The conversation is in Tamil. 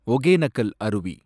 ஒகேனக்கல் அருவி